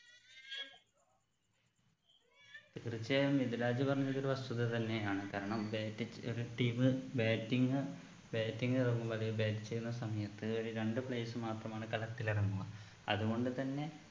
തീർച്ചയായും മിദ്‌ലാജ് പറഞ്ഞത് ഒരു വസ്തുത തന്നെയാണ് കാരണം batting എതിർ team batting batting ഇറങ്ങും വരെ bat ചെയ്യുന്ന സമയത്ത് ഒര് രണ്ട് players മാത്രമാണ് കളത്തിൽ ഇറങ്ങുക അത് കൊണ്ട് തന്നെ